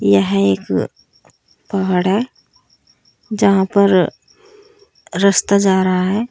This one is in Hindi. यह एक पहाड़ है जहां पर रस्ता जा रहा है।